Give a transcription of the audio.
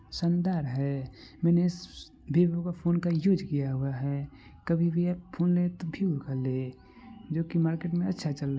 संदर है मैंने वीवो का फ़ोन का यूज़ किया हुआ है कभी भी आप फोन ले जो की मार्केट में अच्छा चल रहा ---